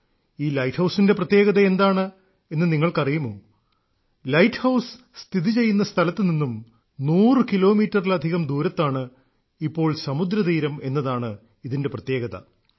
ഈ ലൈറ്റ് ഹൌസിന്റെ പ്രത്യേകത എന്താണെന്ന് നിങ്ങൾക്ക് അറിയുമോ ലൈറ്റ് ഹൌസ് സ്ഥിതി ചെയ്യുന്ന സ്ഥലത്തു നിന്നും നൂറു കിലോമീറ്ററിലധികം ദൂരത്താണ് ഇപ്പോൾ സമുദ്രതീരം എന്നതാണ് ഇതിന്റെ പ്രത്യേകത